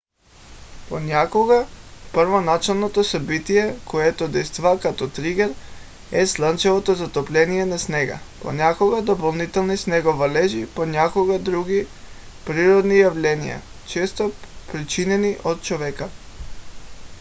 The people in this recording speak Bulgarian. понякога първоначалното събитие което действа като тригер е слънчевото затопляне на снега понякога допълнителни снеговалежи понякога други природни явления често причинени от човека